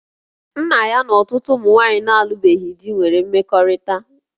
Nna ya na ọtụtụ ụmụ nwaanyị na-alụbeghị di nwere mmekọrịta